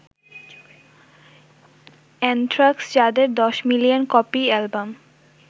anthrax যাদের ১০ million copy album